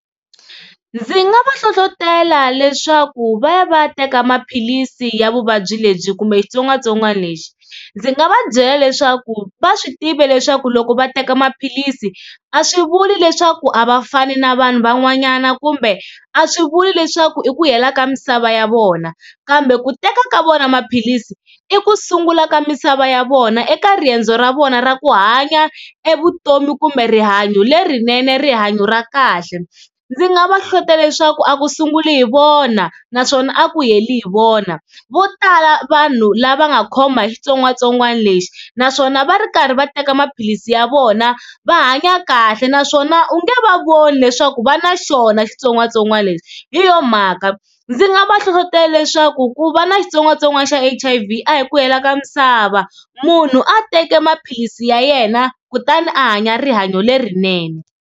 Ndzi nga va hlohlotela leswaku va ya va ya teka maphilisi ya vuvabyi lebyi kumbe xitsongwatsongwana lexi, ndzi nga va byela leswaku va swi tiva leswaku loko va teka maphilisi a swi vuli leswaku a va fani na vanhu van'wanyana, kumbe a swi vuli leswaku i ku hela ka misava ya vona kambe ku teka ka vona maphilisi i ku sungula ka misava ya vona eka riendzo ra vona ra ku hanya e vutomi kumbe rihanyo lerinene rihanyo ra kahle. Ndzi nga va hlohlotela leswaku a ku sunguli hi vona naswona a ku heli hi vona vo tala vanhu lava nga khoma hi xitsongwatsongwana lexi naswona va ri karhi va teka maphilisi ya vona va hanya kahle naswona u nge va voni leswaku va na xona xitsongwatsongwana lexi. Hi yo mhaka ndzi nga va hlohlotela leswaku ku va na xitsongwatsongwana xa H_I_V a hi ku hela ka misava munhu a teka maphilisi ya yena kutani a hanya rihanyo lerinene.